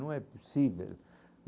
Não é possível.